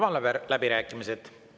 Avan läbirääkimised.